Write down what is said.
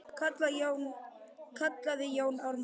kallaði Jón Ármann.